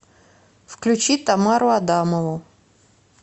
включи тамару адамову